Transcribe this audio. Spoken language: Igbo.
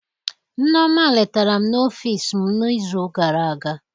Nneoma letara m n'ọfịs m n'izu gara aga.